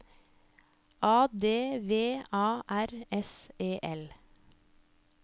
A D V A R S E L